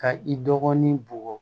Ka i dɔgɔnin bugɔ